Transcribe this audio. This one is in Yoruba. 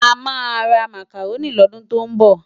Amá rá Mákárôni lòdún tó nbò